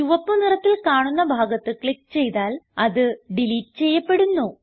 ചുവപ്പ് നിറത്തിൽ കാണുന്ന ഭാഗത്ത് ക്ലിക്ക് ചെയ്താൽ അത് ഡിലീറ്റ് ചെയ്യപ്പെടുന്നു